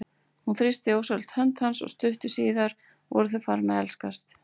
Hún þrýsti ósjálfrátt hönd hans og stuttu síðar voru þau farin að elskast.